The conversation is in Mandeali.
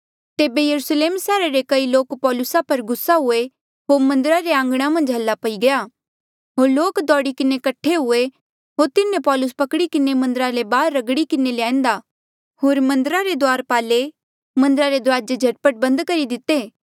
तेबे यरुस्लेम सैहरा रे कई लोक पौलूसा पर गुस्सा हुए होर मन्दरा रे आंघणा मन्झ हाला पई गया होर लोक दौड़ी किन्हें कठे हुए होर तिन्हें पौलुस पकड़ी किन्हें मन्दरा ले बाहर रगड़ी किन्हें लई आंदेया होर मन्दरा रे द्वारपाले मन्दरा रे दुराजे झट पट बंद करी दिते